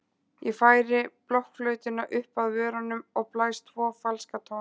Ég færi blokkflautuna upp að vörunum og blæs tvo falska tóna.